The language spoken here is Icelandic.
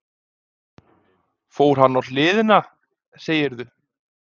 Fór hann á hliðina, segirðu?